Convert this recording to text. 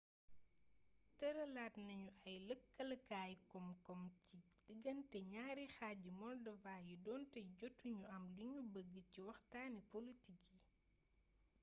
tëralaat nañu ay lëkkalekaay koom-koom ci digante ñaari xaaji moldova yi donte jotu ñu am liñu bëgg ci waxtaani polotik yi